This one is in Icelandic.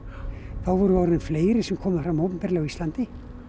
þá vorum við orðin fleiri sem komum fram opinberlega á Íslandi